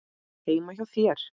Heima hjá þér?